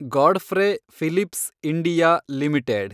Godfrey Phillips India limited